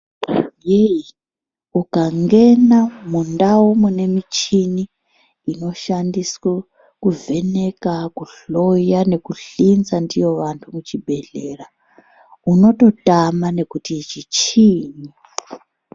heyi! ukangena mundau munemichini inoshandiswe kuvheneka ,kuhloya ,nekuhlinza ndiyo vantu muchibhehlera unototama nekuti ichi chiinyi?